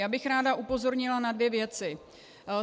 Já bych ráda upozornila na dvě věci.